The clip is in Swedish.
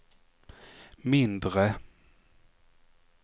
mindre